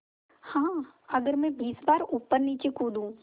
हाँ अगर मैं बीस बार ऊपरनीचे कूदूँ